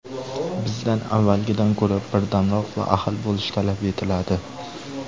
Bizdan avvalgidan ko‘ra birdamroq va ahil bo‘lish talab etiladi”.